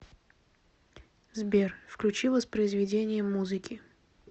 сбер включи воспроизведение музыки